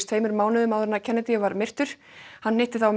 tveimur mánuðum áður en Kennedy var myrtur hann hitti þá